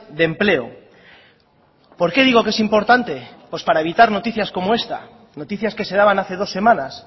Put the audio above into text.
de empleo por qué digo que es importante pues para evitar noticias como esta noticias que se daban hace dos semanas